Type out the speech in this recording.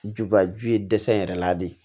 Juba ju ye dɛsɛ yɛrɛ la de